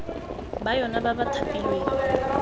ba yona ba ba thapilweng